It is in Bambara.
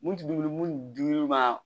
Mun tɛ dumuni mun dir'i ma